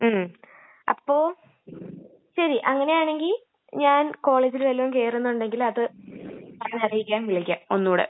മ്...അപ്പൊ.....ശരി...അങ്ങനെയാണെങ്കി ഞാൻ കോളേജില് വല്ലോം കേറുന്നുണ്ടെങ്കില് അത് അറിയിക്കാൻ വിളിക്കാം, ഒന്നൂടെ..